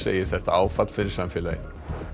segir þetta áfall fyrir samfélagið